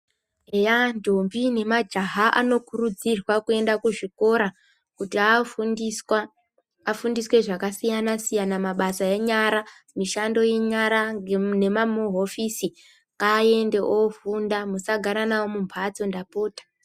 Eya ndombi ne majaha ano kurudzirwa kuenda ku zvikora kuti afundiswa afundiswe zvaka siyana siyana mabasa enyara mishando ye nyara ne mamu hofisi ngaende ofunda musa gara navo mu mbatso ndapota.